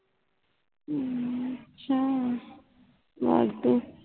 ਹੱਮ ਅੱਛਾ ਵੱਧ